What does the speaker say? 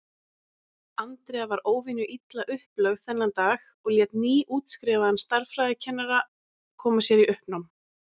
Andrea var óvenju illa upplögð þennan dag og lét nýútskrifaðan stærðfræðikennara koma sér í uppnám.